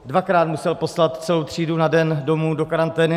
Dvakrát musel poslat celou třídu na den domů do karantény.